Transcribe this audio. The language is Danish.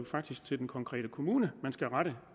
faktisk til den konkrete kommune man skal rette